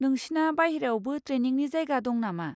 नोंसिना बायह्रायावबो ट्रेनिंनि जायगा दं नामा।